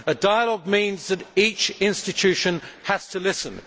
A dialogue means that each institution has to listen.